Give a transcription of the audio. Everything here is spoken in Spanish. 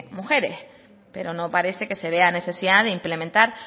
mujeres pero no parece que se vea necesidad de implementar